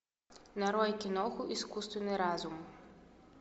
нарой киноху искусственный разум